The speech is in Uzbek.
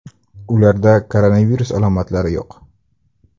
Ularda koronavirus alomatilari yo‘q.